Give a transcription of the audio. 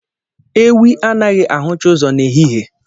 Ewii anaghị ahụcha ụzọ n'ehihie